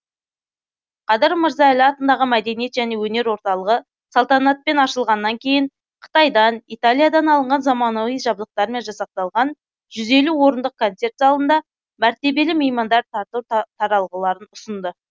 қадыр мырза әлі атындағы мәдениет және өнер орталығы салтанатпен ашылғаннан кейін қытайдан италиядан алынған замауани жабдықтармен жасақталғанжүз елу орындық концерт залында мәртебелі меймандар тарту таралғыларын ұсынды